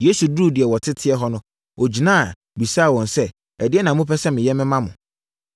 Yesu duruu deɛ wɔteteɛ hɔ no, ɔgyina, bisaa wɔn sɛ, “Ɛdeɛn na mopɛ sɛ meyɛ ma mo?”